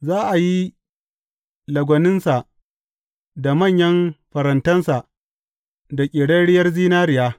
Za a yi lagwaninsa da manyan farantansa da ƙerarriyar zinariya.